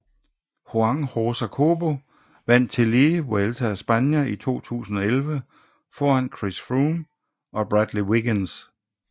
Juan Josa Cobo vandt tillige Vuelta a España 2011 foran Chris Froome og Bradley Wiggins